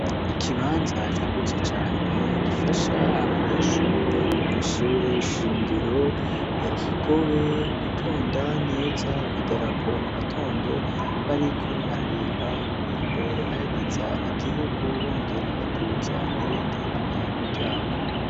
Ikibanza cagutse cane gifasha abanyeshuri bo kwishure shingiro ya kigobe gutonda neza ku idarapo mu gatondo bariko bararimba ururirimbo ruhayagiza igihugu bongera baduza n'ibendera ryarwo.